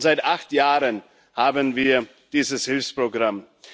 Und seit acht Jahren haben wir dieses Hilfsprogramm.